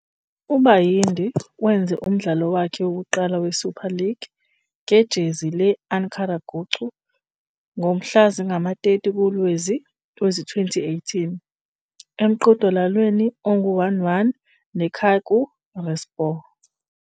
Bayındır, Süper Lig'deki ilk maçına Ankaragücü formasıyla 30 Kasım 2018'de Çaykur Rizespor ile 1-1 berabere kaldı.